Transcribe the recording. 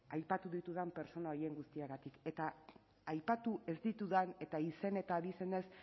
aipatu ditudan pertsona horien guztiengatik eta aipatu ez ditudan eta izen eta abizenez